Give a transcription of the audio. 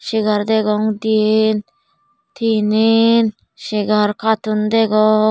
segar degong diyen tinen segar katun degong.